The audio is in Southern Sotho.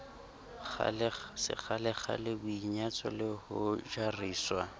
sekgalekgale boinyatso le ho jariswa